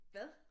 Hvad